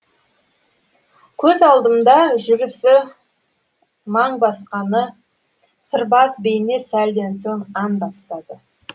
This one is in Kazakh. көз алдымда жүрісі маң басқаны сырбаз бейне сәлден соң ән бастады